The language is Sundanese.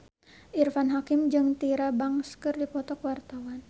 Irfan Hakim jeung Tyra Banks keur dipoto ku wartawan